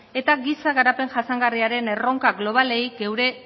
eta giza garapen jasangarriaren erronkak globalei gure